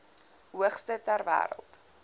hoogste ter wêreld